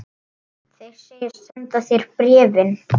Þeir segjast senda þér bréfin.